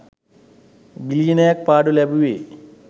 බිලියන ක් පාඩු ලැබුවෙ?